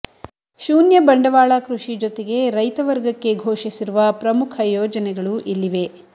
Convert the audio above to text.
ಶೂನ್ಯ ಬಂಡವಾಳ ಕೃಷಿ ಜೊತೆಗೆ ರೈತವರ್ಗಕ್ಕೆ ಘೋಷಿಸಿರುವ ಪ್ರಮುಖ ಯೋಜನೆಗಳು ಇಲ್ಲಿವೆ